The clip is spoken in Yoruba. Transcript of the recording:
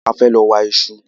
A fẹ́ lọ wa ìṣù